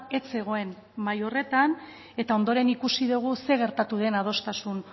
ez zegoen mahai horretan eta ondoren ikusi dugu zer gertatu den adostasun